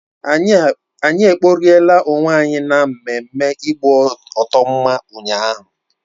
Anyi kporiela onwe anyi na mmemme igboto mma ụnyaahụ